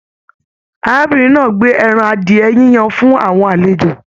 Arábìnrin náà gbé ẹran adiẹ yíyan fún àwọn àlejò.